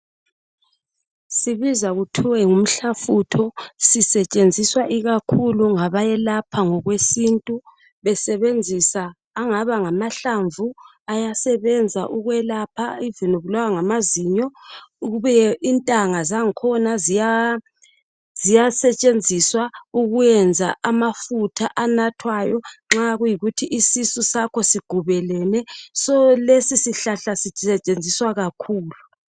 Sibizwa kuthwe ngumhlafutho sisetshenziswa ikakhulu ngabayelapha ngokweintu besebenzisa angaba ngamahlamvu abasebenza ukwelapha iloba aubulawa ngamazinyo kubuye intanga zakhona ziyasetshenziswa ukwenza amafutha anathwayo nxa kuyikuthi isisu sakho sigubelene ngokunjalo lesi sihlahla sisetshenziswa kakhulu